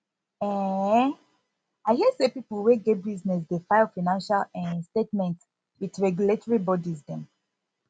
um i hear sey pipo wey get business dey file financial um statement with regulatory bodies dem